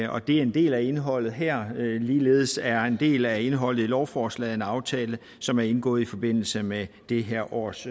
og det er en del af indholdet her ligeledes er en del af indholdet i lovforslaget en aftale som er indgået i forbindelse med det her års